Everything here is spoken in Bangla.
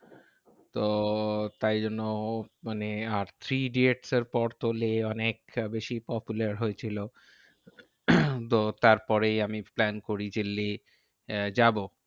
তো তাই জন্য মানে আর থ্রি ইডিয়টস এর পর তো লেহ অনেকটা বেশি popular হয়েছিল। তো তার পরেই আমি plan করি যে লেহ আহ যাবো।